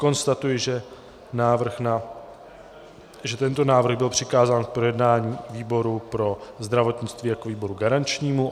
Konstatuji, že tento návrh byl přikázán k projednání výboru pro zdravotnictví jako výboru garančnímu.